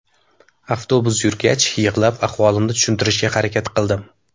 Avtobus yurgach, yig‘lab ahvolimni tushuntirishga harakat qildim.